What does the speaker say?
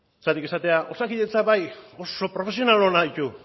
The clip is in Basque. zergatik esatea osakidetzak bai oso profesional onak ditu